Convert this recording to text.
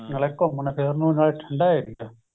ਨਾਲੇ ਘੁੱਮਣ ਫਿੱਰਣ ਨੂੰ ਨਾਲੇ ਠੰਡਾ ਏਰੀਆ